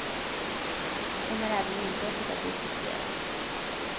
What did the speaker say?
Då kommer även inbrottet att diskuteras.